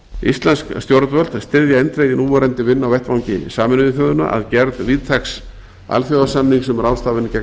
íslensk stjórnvöld styðja eindregið núverandi vinnu á vettvangi sameinuðu þjóðanna að gerð víðtæks alþjóðasamnings um ráðstafanir gegn